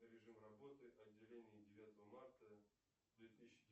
режим работы отделений девятого марта две тысячи